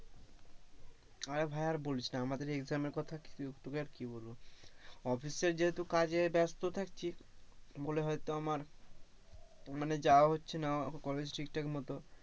আরে ভাই আর বলিস না আমাদের exam এর কথা তোকে আর কি আর বলবো office এ যেহেতু কাজে ব্যস্ত থাকছি, বলে হয়তো আমার মানে যাওয়া হচ্ছে না কলেজ ঠিক ঠাক মতো,